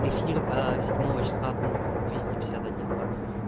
эфир аа седьмого числа был двести пятьдесят один бакс